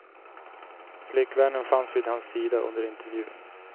Flickvännen fanns vid hans sida under intervjun.